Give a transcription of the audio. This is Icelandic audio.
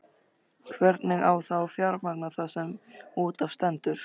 Hvernig á þá að fjármagna það sem út af stendur?